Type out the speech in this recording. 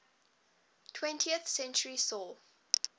twentieth century saw